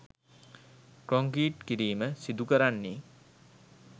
concrete කිරීම සිදුකරන්නේ